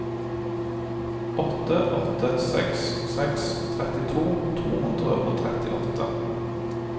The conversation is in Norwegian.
åtte åtte seks seks trettito to hundre og trettiåtte